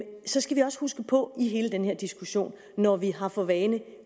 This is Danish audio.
så skal vi også huske på i hele den her diskussion at når vi har for vane